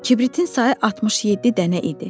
Kibritin sayı 67 dənə idi.